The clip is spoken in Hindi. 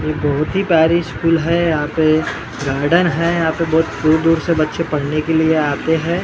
ये बहोत ही बारिश फुल है यहां पे गार्डन है यहां पे बहोत दूर दूर से बच्चे पढ़ने के लिए आते हैं।